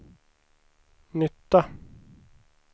nytta